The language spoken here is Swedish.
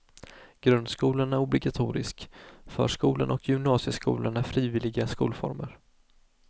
Grundskolan är obligatorisk, förskolan och gymnasieskolan är frivilliga skolformer.